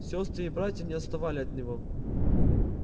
сёстры и братья не отставали от него